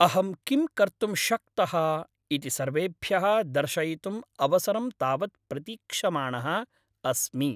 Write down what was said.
अहं किं कर्तुं शक्तः इति सर्वेभ्यः दर्शयितुम् अवसरं तावत् प्रतीक्षमाणः अस्मि।